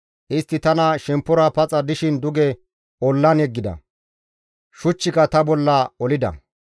Istti tani shemppora paxa dishin duge ollan yeggida; shuchchika ta bolla olida.